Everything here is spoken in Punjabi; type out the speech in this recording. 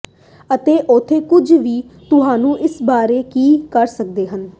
ਅਤੇ ਉੱਥੇ ਕੁਝ ਵੀ ਤੁਹਾਨੂੰ ਇਸ ਬਾਰੇ ਕੀ ਕਰ ਸਕਦਾ ਹੈ